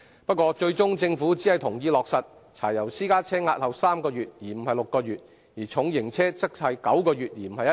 不過，最終政府只同意落實柴油私家車押後3個月，而不是6個月；而重型車則押後9個月，而非1年。